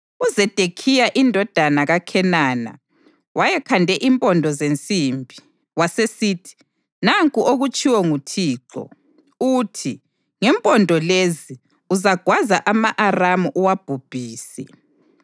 UZedekhiya indodana kaKhenana wayekhande impondo zensimbi, wasesithi, “Nanku okutshiwo nguThixo, uthi: ‘Ngempondo lezi uzagwaza ama-Aramu uwabhubhise.’ ”